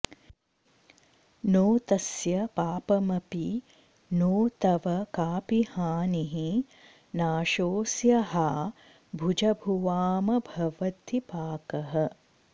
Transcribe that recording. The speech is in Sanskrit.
नो तस्य पापमपि नो तव काऽपि हानिः नाशोऽस्य हा भुजभुवामभवद्विपाकः